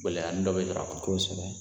Gɛlɛyani dɔ bɛ sɔrɔ a kɔnɔ, kosɛbɛ.